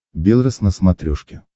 белрос на смотрешке